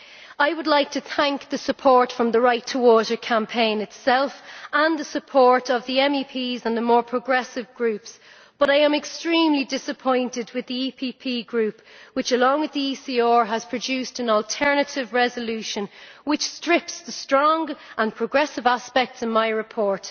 I would like to express my thanks for the support from the Right2Water campaign itself and the support of MEPs in the more progressive Groups, but I am extremely disappointed with the EPP Group, which along with the ECR has produced an alternative resolution which strips the strong and progressive aspects from my report.